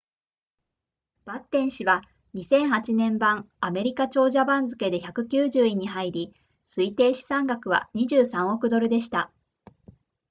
バッテン氏は2008年版アメリカ長者番付で190位に入り推定資産額は23億ドルでした